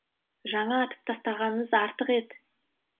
жаңа атып тастағаныңыз артық ет